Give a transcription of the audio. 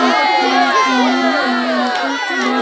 यहाँ पे class one है और यहाँ पे --